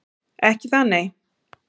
Ekki það nei.